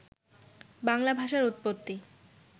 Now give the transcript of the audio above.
বাংলা ভাষার উৎপত্তি